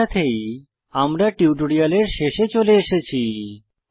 এর সাথেই আমরা টিউটোরিয়ালের শেষে চলে এসেছি